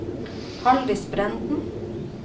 Halldis Brenden